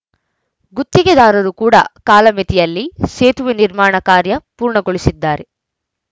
ಗುತ್ತಿಗೆದಾರರು ಕೂಡ ಕಾಲಮಿತಿಯಲ್ಲಿ ಸೇತುವೆ ನಿರ್ಮಾಣ ಕಾರ್ಯ ಪೂರ್ಣಗೊಳಿಸಿದ್ದಾರೆ